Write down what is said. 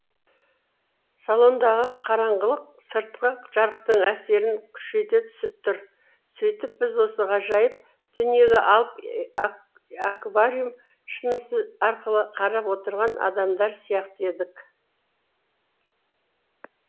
салондағы қараңғылық сыртқы жарықтың әсерін күшейте түсіп тұр сөйтіп біз осы ғажайып дүниеге алып аквариум шынысы арқылы қарап отырған адамдар сияқты едік